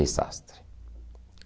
Desastre.